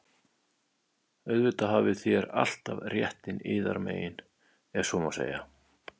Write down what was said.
Auðvitað hafið þér alltaf réttinn yðar megin,- ef svo má segja.